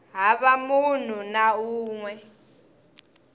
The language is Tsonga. hava munhu na un we